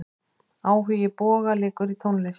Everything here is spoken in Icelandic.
Áhugi Boga liggur í tónlist.